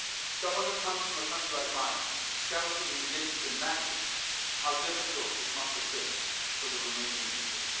Someone who comes from a country like mine cannot even begin to imagine how difficult this must have been for the Romanian people.